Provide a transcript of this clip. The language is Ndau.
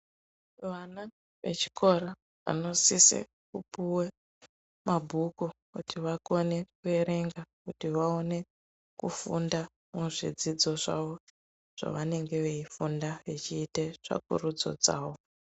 Vana vechikora vanosise kupuwe mabhuku kuti vakone kuerenga kuti vaone kufunda muzvidzidzo zvavo zvavanenge veifundau vechiite tsvakurudzo dzavo.